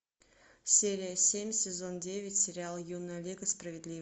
серия семь сезон девять сериал юная лига справедливости